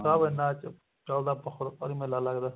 ਸਾਹਿਬ ਇੰਨਾ ਚਲਦਾ ਬਹੁਤ ਭਾਰੀ ਮੇਲਾ ਲੱਗਦਾ